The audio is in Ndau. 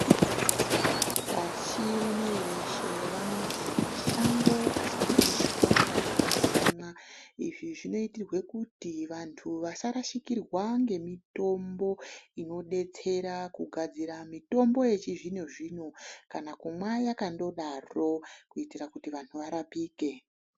Pashi rineri reshe vanoti mashango asapishwa kana kutemwa. Izvi zvinoitirwe kuti vantu vasarashikirwa ngemitombo inodetsera kugadzira mitombo yechizvinozvino, kana kumwa yakandodaro kuitira kuti vanhu varapike.